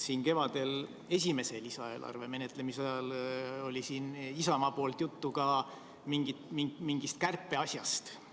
Kevadel esimese lisaeelarve menetlemise ajal oli Isamaal juttu ka mingist kärpeasjast.